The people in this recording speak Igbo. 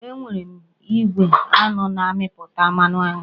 Enwere m igwe aṅụ na-amịpụta mmanụ aṅụ